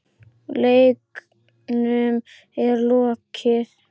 Leiknum er lokið.